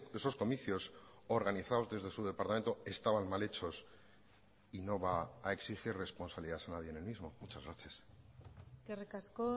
esos comicios organizados desde su departamento estaban mal hechos y no va a exigir responsabilidad a nadie en el mismo muchas gracias eskerrik asko